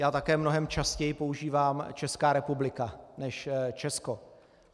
Já také mnohem častěji používám Česká republika než Česko.